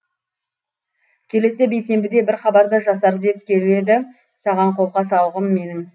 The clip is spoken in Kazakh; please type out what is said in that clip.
келесі бейсенбіде бір хабарды жасар деп келеді саған қолқа салғым менің